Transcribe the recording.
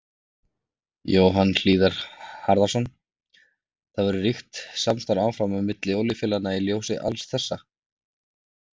Jóhann Hlíðar Harðarson: Það verður ríkt samstarf áfram á milli olíufélaganna í ljósi alls þessa?